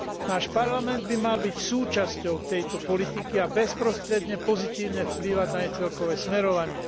Náš Parlament by mal byť súčasťou tejto politiky a bezprostredne pozitívne vplývať na jej celkové smerovanie.